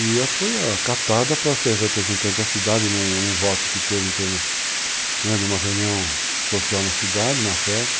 E eu fui acatada para ser representante da cidade num voto que teve em termos de uma reunião social na cidade, uma festa.